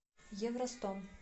евростом